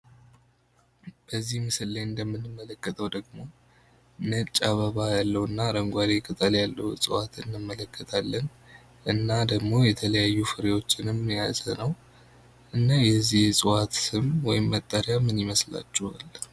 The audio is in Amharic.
በዚህ ምስል ላይ እንደምንመለከተው ደግሞ ነጭ አበባ ያለውና አረንጓዴ ቅጠል ያለው እጽዋት እንመለከታለን። እና ደሞ የተለያዩ ፍሬዎችንም የያዘ ነው። እና የዚህ ዕጽዋት ስም ወይም መጠሪያ ምን ይመስላችኋል?